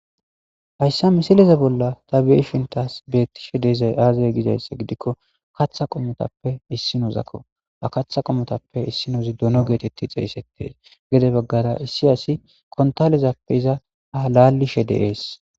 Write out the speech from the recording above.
hayssa misileze bolla ta be'ieshin tas bettishe de'ezay aazaye gizayssa gidikko katha qomotappe issinozakko ha katha qomotappe issinozi dono geetetti xeeysettes gede baggara issi asi kontalezappe iza ha lalishe de'es